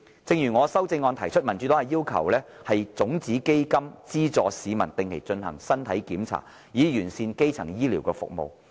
正如我的修正案提出，民主黨要求設立種子基金資助市民定期進行身體檢查，以完善基層醫療服務。